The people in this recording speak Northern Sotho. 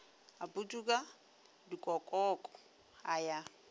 a putuka dikokoko a ya